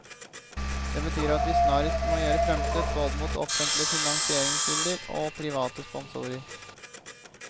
Det betyr at vi snarest må gjøre fremstøt både mot offentlige finansieringskilder og private sponsorer.